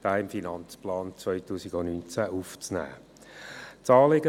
Dieser soll in den Finanzplan 2019 aufgenommen werden.